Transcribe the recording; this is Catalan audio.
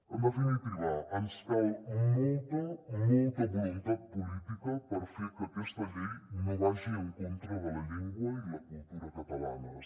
en definitiva ens cal molta molta voluntat política per fer que aquesta llei no vagi en contra de la llengua i la cultura catalanes